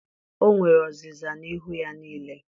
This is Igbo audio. o nwere ọzịza n'ihu ya niile.